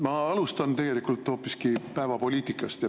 Ma alustan hoopiski päevapoliitikast.